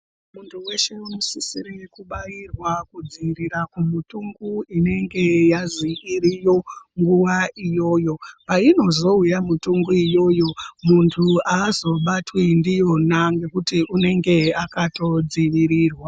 Muntu veshe unosisirwe kubairwa kudzivirirwa kumutungu inenge yazi iriyo nguva iyoyo. Painozouya mitungu iyoyo muntu azobatwi ndiyona nekuti unenge akatodzivirirwa.